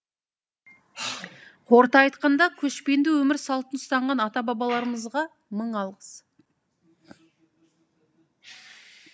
қорыта айтқанда көшпенді өмір салтын ұстанған ата бабаларымызға мың алғыс